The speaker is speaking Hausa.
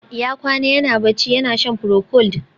Ya kwana yana barci, yana shan procold